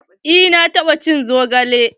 Eh na taɓa cin zogale.